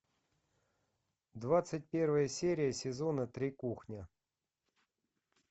двадцать первая серия сезона три кухня